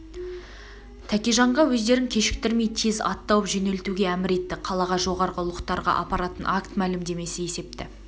тәкеженға өздерін кешіктірмей тез ат тауып жөнелтуге әмір етті қалаға жоғарғы ұлықтарға апаратын акт мәлімдемесі есепті